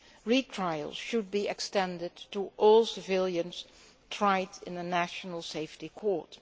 Retrials should be extended to all civilians tried in the National Safety Court.